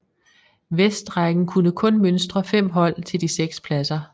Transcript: Vestrækken kunne kun mønstre 5 hold til de 6 pladser